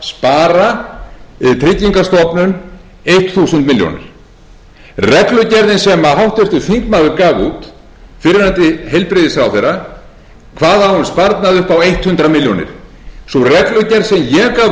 milljón reglugerðin sem háttvirtur þingmaður gaf út fyrrverandi heilbrigðisráðherra kvað á um sparnað upp á hundrað milljónir sú reglugerð sem ég gaf út tólf dögum eftir að ég tók við embætti fól